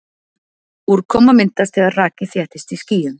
Úrkoma myndast þegar raki þéttist í skýjum.